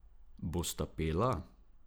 Bosta pela?